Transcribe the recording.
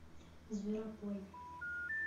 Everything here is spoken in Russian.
зверопой